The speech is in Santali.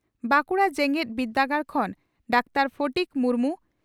ᱵᱟᱺᱠᱩᱲᱟ ᱡᱮᱜᱮᱛ ᱵᱤᱨᱫᱟᱹᱜᱟᱲ ᱠᱷᱚᱱ ᱰᱟᱠᱛᱟᱨ ᱯᱷᱚᱴᱤᱠ ᱢᱩᱨᱢᱩ